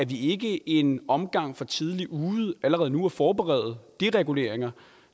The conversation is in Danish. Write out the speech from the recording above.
vi ikke en omgang for tidligt ude ved allerede nu at forberede dereguleringer